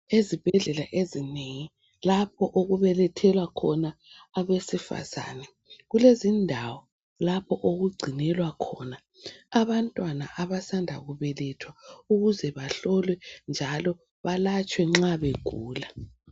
Ezibhedlela ezinengi, lapho okubelethela khona abesifazane, kulezindawo lapho okugcinelwa khona abantwana abasanda kubelethwa ukuze bahlolwe, njalo balatshwe nxa begula.